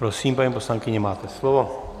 Prosím, paní poslankyně, máte slovo.